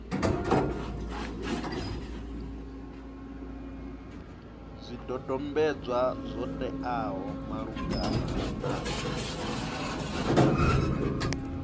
zwidodombedzwa zwo teaho malugana na